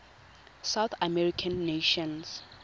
south american nations